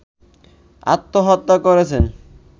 আত্মহত্যা করেছেন